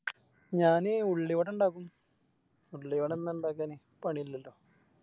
ഞാന് ഉള്ളിവട ഇണ്ടാക്കും ഉള്ളിവട ഒന്നും ഇണ്ടാക്കാന് പണിയില്ലല്ലോ